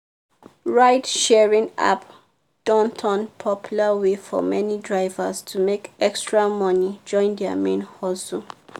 ride-sharing app don turn popular way for many drivers to make extra money join their main hustle.